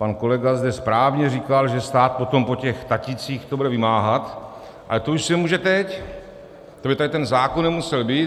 Pan kolega zde správně říkal, že stát potom po těch tatících to bude vymáhat, ale to už se může teď, to by tady ten zákon nemusel být.